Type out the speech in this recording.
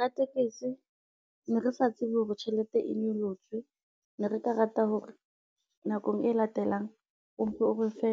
Ratekesi ne re sa tsebe hore tjhelete e nyolotswe, ne re ka rata hore nakong e latelang o mpe o re fe,